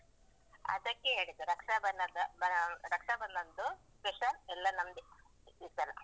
ಅದಕ್ಕೇ ಹೇಳಿದ್ದು ರಕ್ಷಾಬನದ ಆ ರಕ್ಷಾಬಂಧನದ್ದು special ಎಲ್ಲಾ ನಂದೇ, ಈ ಸಲ.